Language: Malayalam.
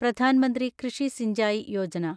പ്രധാൻ മന്ത്രി കൃഷി സിഞ്ചായി യോജന